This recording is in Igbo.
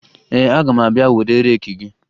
Ee, aga m abịa were reeki gị